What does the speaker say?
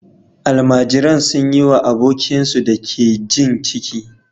Almajiran sun yi wa abokinsu da ke jin ciki